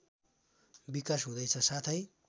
विकास हुँदैछ साथै